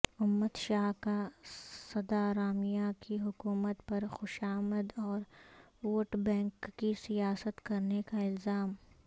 امت شاہ کا سدارامیا کی حکومت پرخوشامد اور ووٹ بینک کی سیاست کرنے کا الزام